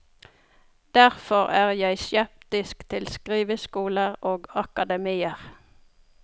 Derfor er jeg skeptisk til skriveskoler og akademier.